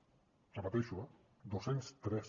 ho repeteixo eh dos cents i tres